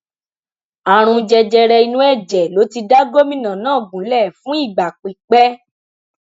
àrùn jẹjẹrẹ inú ẹjẹ ló ti da gómìnà náà gúnlẹ fún ìgbà pípẹ